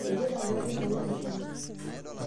eipute engarri intau meshomo